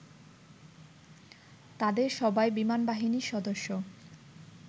তাদের সবাই বিমানবাহিনীর সদস্য